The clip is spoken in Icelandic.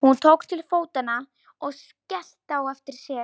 Hún tók til fótanna og skellti á eftir sér.